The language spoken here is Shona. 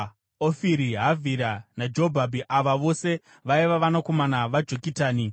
Ofiri, Havhira naJobhabhi. Ava vose vaiva vanakomana vaJokitani.